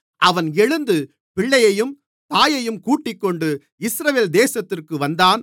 அவன் எழுந்து பிள்ளையையும் தாயையும் கூட்டிக்கொண்டு இஸ்ரவேல் தேசத்திற்கு வந்தான்